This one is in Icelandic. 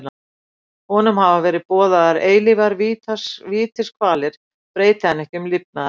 Honum hafa verið boðaðar eilífar vítiskvalir breyti hann ekki um lifnaðarhætti.